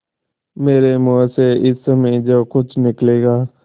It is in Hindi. मेरे मुँह से इस समय जो कुछ निकलेगा